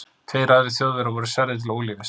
Tveir aðrir Þjóðverjar voru særðir til ólífis.